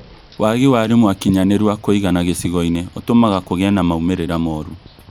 Waagi wa arimu akinyanĩru a kũigana gĩcigo-inĩ ũtũmaga kũgie na maumĩrĩra mũũrũ